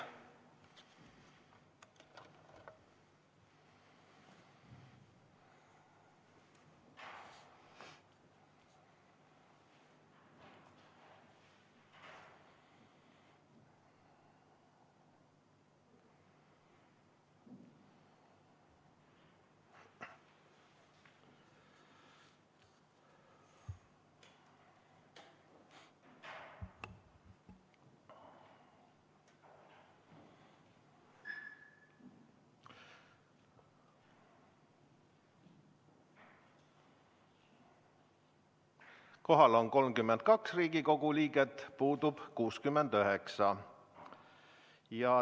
Kohal on 32 Riigikogu liiget, puudub 69.